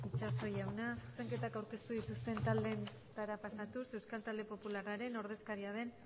itxaso jauna zuzenketak aurkeztu dituzten taldeen txandara pasatuz euskal talde popularraren ordezkaria den